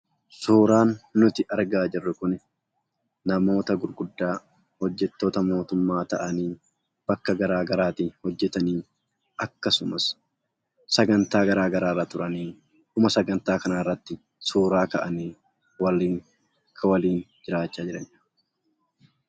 Suuraan nuti argaa jirru kun namoota gurguddaa hojjattoota mootummaa ta'anii bakka garaagaraatti hojjatanidha. Akkasumas sagantaa garaagaraarra turan dhuma sagantaa kanaarratti suuraa ka'anii kan waliin jiraatanii